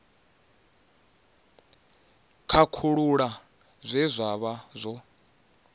khakhulula zwe zwa vha zwo